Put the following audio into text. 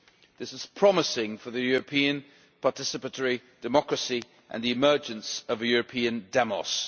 This is promising for European participatory democracy and the emergence of a European demos.